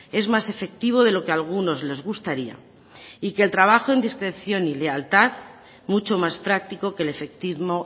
es más efectivo de lo que a algunos les gustaría y que el trabajo en discreción y lealtad mucho más practico que el efectismo